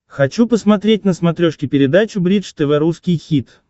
хочу посмотреть на смотрешке передачу бридж тв русский хит